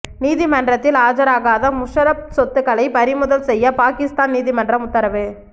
நீதிமன்றத்தில் ஆஜராகாத முஷரப் சொத்துக்களை பறிமுதல் செய்ய பாகிஸ்தான் நீதிமன்றம் உத்தரவு